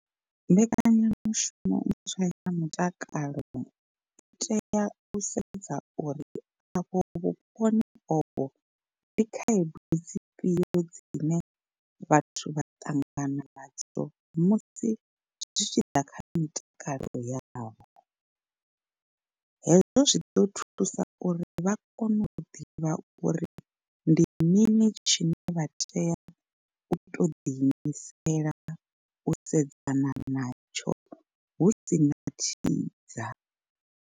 Mbekanyamushumo ntswa ya mutakalo i tea u sedza uri afho vhuponi ovho ndi khaedu dzifhio dzine vhathu vha ṱangana nadzo musi zwi tshi ḓa kha mitakalo yavho. Hezwo zwi ḓo thusa uri vha kone u ḓivha uri ndi mini tshine vha tea u to ḓi imisela u sedzana natsho husina thidza.